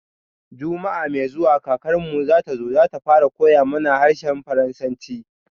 Juma'a mai zuwa kakarmu zatazo, zata fara koya mana harshen faransanci